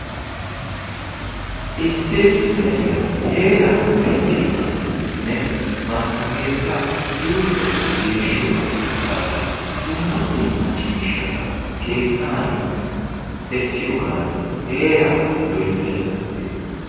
Issi na'iya heeraa pittiyogaaninne bantta keettaa yuushuwakka geeshshiyogaaninne qassi dumma dumma ciishshata keettaani essiyogani heeraa loyttaydda beettawusu.